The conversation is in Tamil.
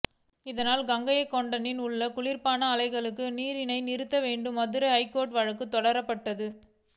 இதனால் கங்கைகொண்டானில் உள்ள குளிர்பான ஆலைகளுக்கு தண்ணீரை நிறுத்த வேண்டும் மதுரை ஐகோர்ட்டில் வழக்கு தொடரப்பட்டது